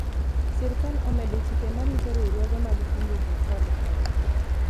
sirikal omedo chike marito riwruoge mag kungo kod hola